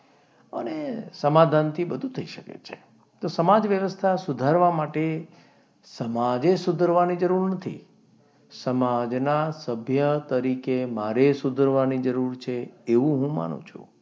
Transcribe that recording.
અને સમાધાનથી બધું થઈ શકે છે તો સમાજ વ્યવસ્થા સુધારવા માટે સમાજે સુધારવાની જરૂર નથી. સમાજના સભ્ય તરીકે મારે સુધરવાની જરૂર છે એવું હું માનું છું.